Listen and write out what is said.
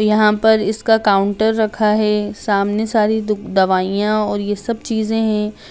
यहाँ पर इसका काउंटर रखा है सामने सारी द दवाइयाँ और ये सब चीजें हैं।